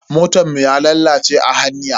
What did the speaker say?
Motan mu ya lalace a hanya.